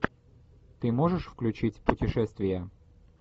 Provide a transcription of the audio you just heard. ты можешь включить путешествия